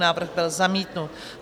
Návrh byl zamítnut.